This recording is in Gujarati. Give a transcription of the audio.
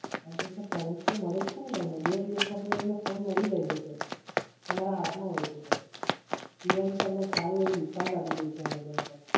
હાં તો Sir service તો મળે જ છે ને તમને. બે દિવસમાં તો તમને phone મળી જાય છે Sir. તમારા હાથમાં હોય છે Sir Even. તમને સારું એવું discount આપી રહી છે Amazon Sir